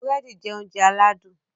Burẹdi jẹ oúnjẹ aládùn